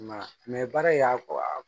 I m'a ye baara in y'a